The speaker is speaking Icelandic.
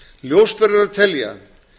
ljóst verður að telja